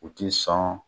U ti sɔn